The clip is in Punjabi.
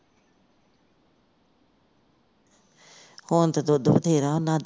ਹੁਣ ਤੇ ਦੁੱਧ ਬਥੇਰਾ ਉਹਨਾਂ ਦੀ